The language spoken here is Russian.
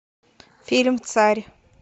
фильм царь